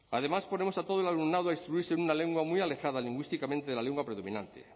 además ponemos a todo el alumnado a instruirse en una lengua muy alejada lingüísticamente de la lengua predominante